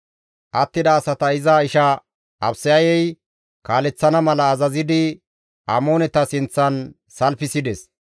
Attida asata iza isha Abisayey kaaleththana mala azazidi Amooneta sinththan salfisides.